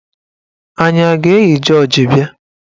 Anyị a ga-eyi jọọji bịa?